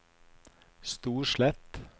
Storslett